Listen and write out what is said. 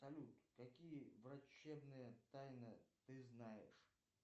салют какие врачебные тайны ты знаешь